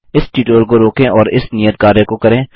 इस ट्यूटोरियल को रोकें और इस नियत कार्य को करें